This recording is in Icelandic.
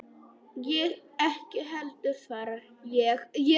Ég ekki heldur, svaraði ég.